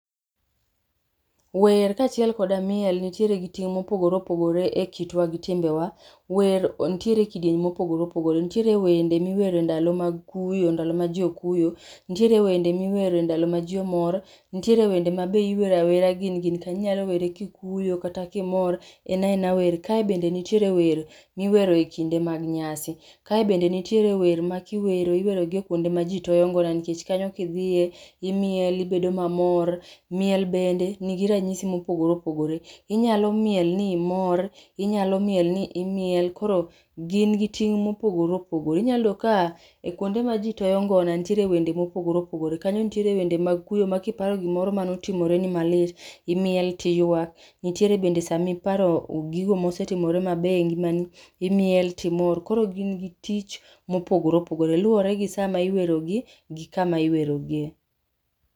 Wer kachiel koda miel nitiere gi ting mopogore opogore e kitwa gi timbewa, wer nitiere kidieny mopogore opogore, nitiere wende miwero e ndalo mag kuyo, ndalo ma jii okuyo, nitiere wende miwero e ndalo ma jii omor, nitiere wende mabe iwero awera gin gin kanyo, inyalo were kikuyo kata kimor, en aena wer, kae bende nitiere wer miwero ekinde mag nyasi, kae bende nitiere wer makiwero iwerogi e kuonde ma jii toyo ngona nikech kanyo kidhiye imiel ibedo kimor. Miel bende nigi ranyisi mopogore opogore, inyalo miel ni imor, inyalo miel ni imiel koro gin gi ting' mopogore opogore, inya yudo ka e kuonde ma jii toyo ngona nitiere wende ma opogore opogore. Kanyo nitiere wende mag kuyo ma kiparo gima notimore ni malit imiel tiywak, nitiere bende sama iparo gigo mosetimore maber e ngimani, imiel timor, koro gin gi tich mopogore opogore, luoregi kama iwero gi gi sama iwero gi